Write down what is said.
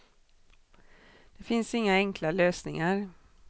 Det finns inga enkla lösningar.